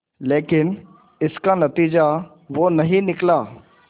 लेकिन इसका नतीजा वो नहीं निकला